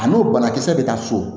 A n'o banakisɛ bɛ taa so